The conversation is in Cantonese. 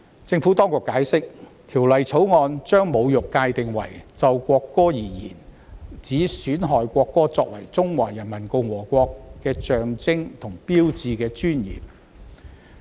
政府當局解釋，《條例草案》將"侮辱"界定為"就國歌而言，指損害國歌作為中華人民共和國的象徵和標誌的尊嚴"。